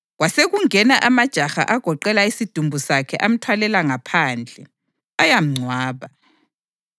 Kwasekungena amajaha agoqela isidumbu sakhe amthwalela phandle, ayamngcwaba.